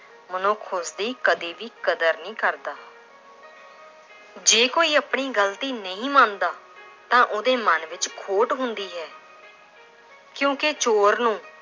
ਮਨੁੱਖ ਉਸਦੀ ਕਦੇ ਵੀ ਕਦਰ ਨਹੀਂ ਕਰਦਾ l ਜੇ ਕੋਈ ਆਪਣੀ ਗ਼ਲਤੀ ਨਹੀਂ ਮੰਨਦਾ ਤਾਂ ਉਹਦੇ ਮੰਨ ਵਿੱਚ ਖੋਟ ਹੁੰਦੀ ਹੈ ਕਿਉਂਕਿ ਚੋਰ ਨੂੰ